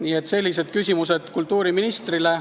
Nii et sellised küsimused kultuuriministrile.